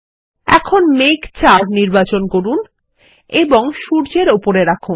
এখন মেঘ ৪ নির্বাচন করুন এবং সূর্যের উপরে রাখুন